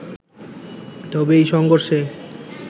তবে এই সংঘর্ষে